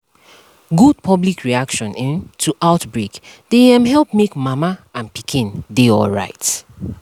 good public reaction um to outbreak dey um help make mama and pikin dey alright